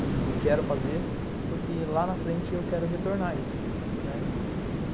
E quero fazer, porque lá na frente eu quero retornar isso, né.